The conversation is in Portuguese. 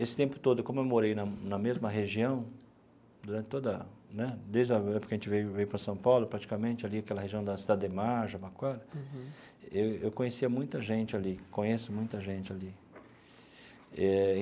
Esse tempo todo, como eu morei na na mesma região, durante toda a né desde a época que a gente veio veio para São Paulo, praticamente ali, aquela região da Cidade Ademar, Jabaquara, eu eu conhecia muita gente ali, conheço muita gente ali eh.